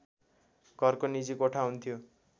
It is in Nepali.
घरको निजी कोठा हुन्थ्यो